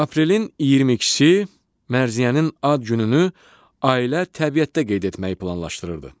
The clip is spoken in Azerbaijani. Aprelin 22-si Mərziyənin ad gününü ailə təbiətdə qeyd etməyi planlaşdırırdı.